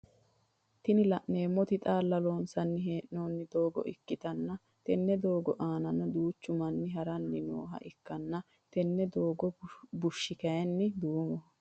Tini laneemmoti xaalla loonssani heenoonni doogo ikkitanna tenne doogo anaannino duuchu manni haranni nooha ikkanna tenne doogo bushshi kaayiini duumoho